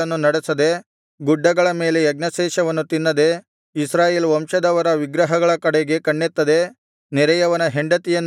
ಗುಡ್ಡಗಳ ಮೇಲೆ ಯಜ್ಞಶೇಷವನ್ನು ತಿನ್ನದೆ ಇಸ್ರಾಯೇಲ್ ವಂಶದವರ ವಿಗ್ರಹಗಳ ಕಡೆಗೆ ಕಣ್ಣೆತ್ತದೆ ನೆರೆಯವನ ಹೆಂಡತಿಯನ್ನು ಕೆಡಿಸದೆ